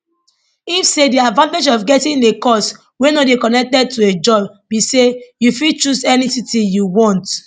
im say di advantage of getting a cos wey no dey connected to a job be say you fit choose any city you want